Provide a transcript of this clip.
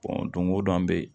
don go don an be yen